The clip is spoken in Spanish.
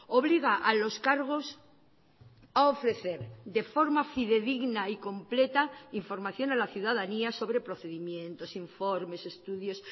obliga a los cargos a ofrecer de forma fidedigna y completa información a la ciudadanía sobre procedimientos informes estudios